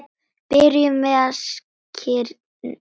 Byrjum við á skyrinu?